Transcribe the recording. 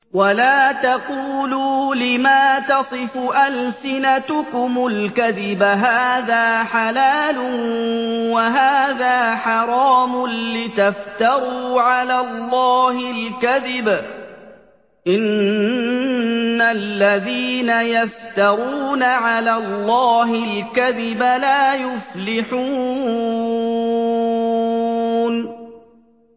وَلَا تَقُولُوا لِمَا تَصِفُ أَلْسِنَتُكُمُ الْكَذِبَ هَٰذَا حَلَالٌ وَهَٰذَا حَرَامٌ لِّتَفْتَرُوا عَلَى اللَّهِ الْكَذِبَ ۚ إِنَّ الَّذِينَ يَفْتَرُونَ عَلَى اللَّهِ الْكَذِبَ لَا يُفْلِحُونَ